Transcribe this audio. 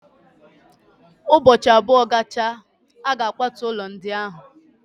Ụbọchị abụọ gachara, a ga-akwatu ụlọ ndị ahụ.